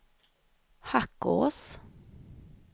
Hackås